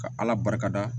Ka ala barika da